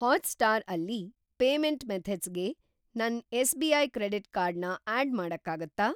Hotstar ಅಲ್ಲಿ payment ಮೆಥಡ್ಸ್‌ಗೆ ನನ್‌ ಎಸ್‌.ಬಿ.ಐ. ಕ್ರೆಡಿಟ್‌ ಕಾರ್ಡ್ ನ ಆಡ್‌ ಮಾಡಕ್ಕಾಗತ್ತಾ?